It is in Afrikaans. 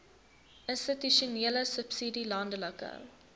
institusionele subsidie landelike